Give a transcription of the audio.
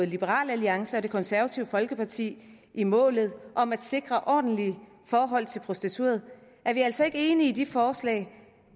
liberal alliance og det konservative folkeparti i målet om at sikre ordentlige forhold til prostituerede er vi altså ikke enige i det forslag